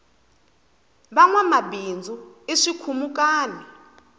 vanwama bindzu i swikhumukani